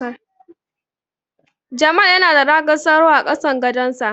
Jamal yana da ragar sauro a kasan gadonsa.